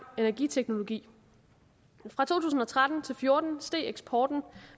energiteknologi fra to tusind og tretten til og fjorten steg eksporten